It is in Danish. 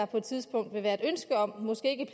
på et tidspunkt vil være et ønske om måske ikke